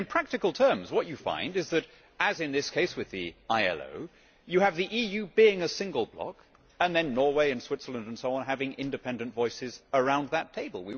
But in practical terms what you find is that, as in this case with the ILO, you have the EU being a single block and then Norway, Switzerland and so on having independent voices around that table.